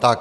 Tak.